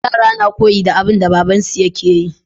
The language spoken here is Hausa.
Yara na koyi da abun da baban su yake yi